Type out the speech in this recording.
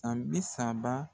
san bisaba